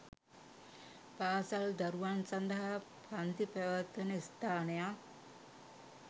පාසල් දරුවන් සඳහා පන්ති පැවැත්වෙන ස්ථානයක්